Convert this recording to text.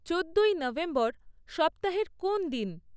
চৌদ্দই November সপ্তাহের কোন দিন?